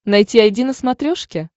найти айди на смотрешке